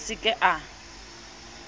re a se ke a